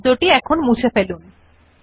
সুতরাং আসুন কিভাবে এটি করতে শেখে